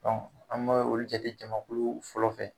an bɛ olu jate jamakulu fɔlɔ fɛ